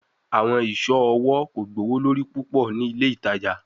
Awọn iṣọ ọwọ ko gbowolori pupọ ni ile itaja